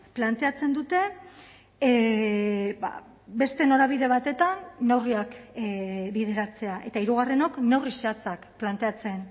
planteatzen dute beste norabide batetan neurriak bideratzea eta hirugarrenok neurri zehatzak planteatzen